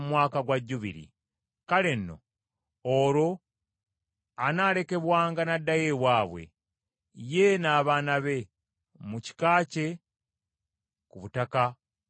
Kale nno, olwo anaalekebwanga n’addayo ewaabwe, ye n’abaana be, mu kika kye ku butaka bwa bakadde be.